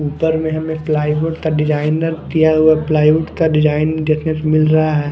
ऊपर में हमें प्लाई बोर्ड का डिजाइनर दिया हुआ प्लाईववुड का डिजाइन देखने को मिल रहा है।